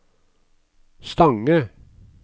Stange